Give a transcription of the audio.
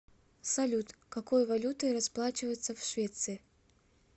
салют какой валютой расплачиваются в швеции